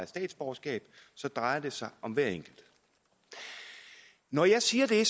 statsborgerskab så drejer det sig om hver enkelt når jeg siger det